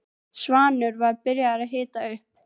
Þetta er hann Brimar. seinni maðurinn minn.